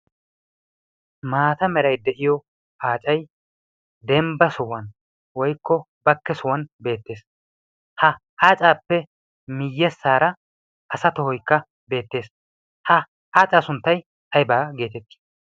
maata meray de'iyo aacay dembba sohuwan woykko bakke sohuwan beettees ha aacaappe miyyessaara asa tohoykka beettees ha aacaa sunttay aybaa geetetti